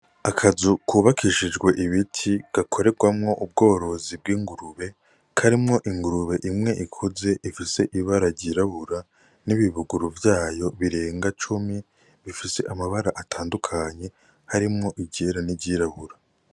Akazu kubakishijwe ibiti gakorerwamwo ubworozi bw'ingurube karimwo ingurube imwe ikuze ifise ibara ryirabura n'ibibuguru vyayo birenga cumi bifise amabara atandukanye harimwo iryera n'iryirabura.